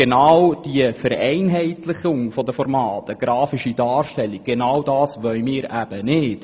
Genau diese Vereinheitlichung der Formate, zum Beispiel eine grafische Darstellung, wollen wir eben nicht.